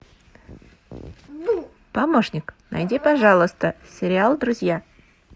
помощник найди пожалуйста сериал друзья